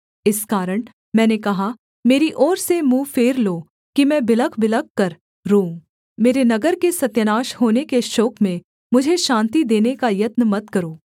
इस कारण मैंने कहा मेरी ओर से मुँह फेर लो कि मैं बिलखबिलख कर रोऊँ मेरे नगर के सत्यानाश होने के शोक में मुझे शान्ति देने का यत्न मत करो